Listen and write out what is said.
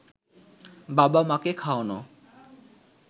বাবা-মাকে খাওয়ানো